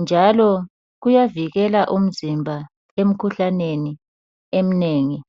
njalo kuyavikela umzimba emkhuhlaneni emnengi.